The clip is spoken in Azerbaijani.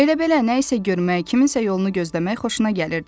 Elə belə nəysə görmək, kiminsə yolunu gözləmək xoşuna gəlirdi.